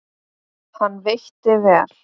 Hann veitti vel